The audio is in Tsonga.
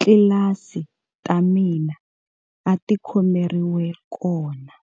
tlilasi ta mina a ti khomeriwa kona.